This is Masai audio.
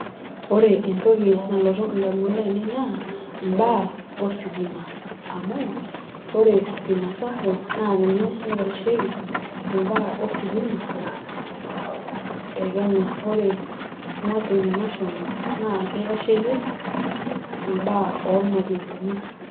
Ore entoki nalotu indamunot ainei naa mbaa ositima amu ore stima sacco naa ninye naitasheiki imbaa ositima te kenya. ore mwalimu national naa kitasheiki mbaaa ormwalimuni .